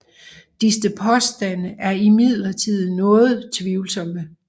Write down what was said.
Disse påstande er imidlertid noget tvivlsomme